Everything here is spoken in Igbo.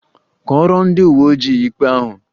Kọọrọ ndị uwe ojii ikpe ahụ!